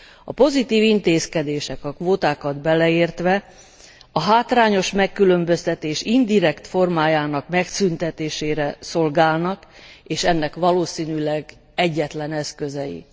A pozitív intézkedések a kvótákat beleértve a hátrányos megkülönböztetés indirekt formájának megszüntetésére szolgálnak, és ennek valószínűleg egyetlen eszközei.